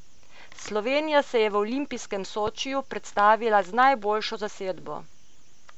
Slovenija se je v olimpijskem Sočiju predstavila z najboljšo zasedbo.